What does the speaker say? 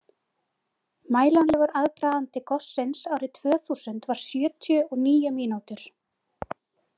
Mælanlegur aðdragandi gossins árið tvö þúsund var sjötíu og níu mínútur.